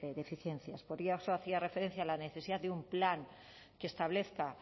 deficiencias por eso hacía referencia a la necesidad de un plan que establezca